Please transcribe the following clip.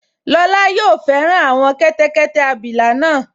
Lọla yóò fẹ́ràn àwọn kẹ́tẹ́kẹ́tẹ́ abilà náà